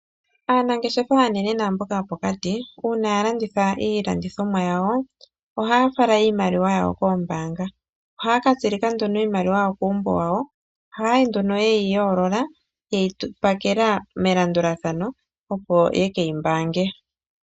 Aanangeshefa aanene naamboka yopokati uuna ya landitha iilandithomwa yawo, ohaya fala iimaliwa yawo koombaanga. Ohaya ka tsilika nduno iimaliwa yawo kuumbo wawo. Ohaa yi nduno ye yi yoolola, ye yi pakela melandulathano, opo ye ke yi mbaange.